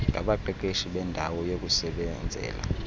ngabaqeqeshi beendawo yokusebenzela